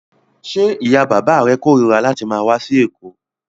Ṣé ìyá-bàbá rẹ korira láti máa wá sí Èkó?